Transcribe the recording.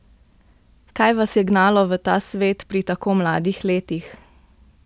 Kaj vas je gnalo v ta svet pri tako mladih letih?